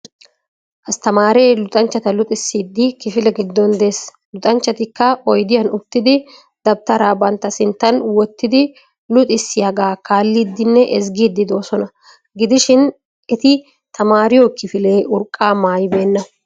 Asttemaaree luxxanchchata luxxissiidi kifile giddon dees. luxxanchchatikka oydiyan uttidi debttara bantta sinttan wottidi luxxissiyagaa kaalliidinne ezggiidi doosona. gidishin eti tamariyo kifilee urqqaa mayyibena.